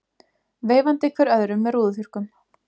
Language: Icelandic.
Veifandi hver öðrum með rúðuþurrkum.